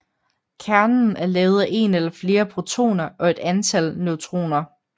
Kernen er lavet af en eller flere protoner og et antal neutroner